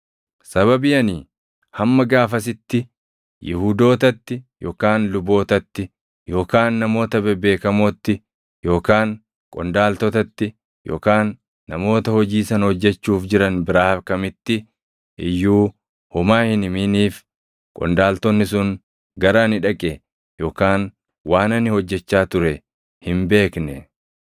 Sababii ani hamma gaafasitti Yihuudootatti yookaan lubootatti yookaan namoota bebeekamootti yookaan qondaaltotatti yookaan namoota hojii sana hojjechuuf jiran biraa kamitti iyyuu homaa hin himiniif qondaaltonni sun gara ani dhaqe yookaan waan ani hojjechaa ture hin beekne.